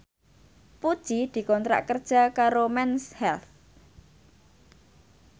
Puji dikontrak kerja karo Mens Health